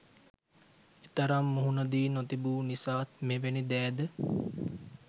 එතරම් මුහුණ දී නොතිබු නිසාත් මෙවැනි දෑද